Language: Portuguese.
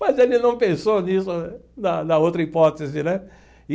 Mas ele não pensou nisso né, na na outra hipótese, né?